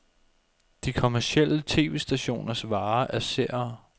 De kommercielle tv-stationers vare er seere.